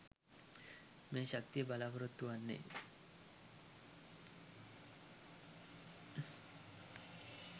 මේ ශක්තිය බලාපොරොත්තු වෙන්නෙ?